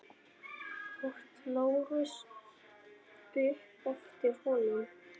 át Lárus upp eftir honum.